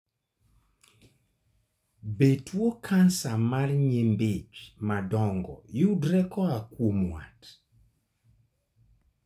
Be tuo kansa mar nyimbi ich madongo yudore koa kuom wat?